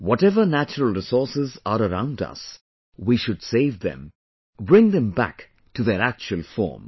Whatever natural resources are around us, we should save them, bring them back to their actual form